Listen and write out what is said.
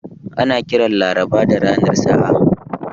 Ana kiran Laraba da ranar sa'a.